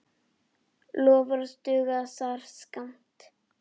Loforð duga þar skammt.